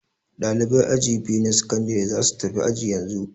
Ɗaliban aji biyu na sakandare za su tafi aji yanzu